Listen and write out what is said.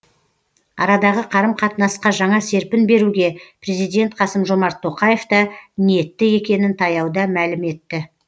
арадағы қарым қатынасқа жаңа серпін беруге президент қасым жомарт тоқаев та ниетті екенін таяуда мәлім етті